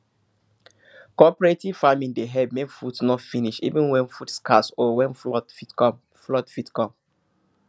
cooperative farming dey help make food no finish even when food scarce or when flood fit come flood fit come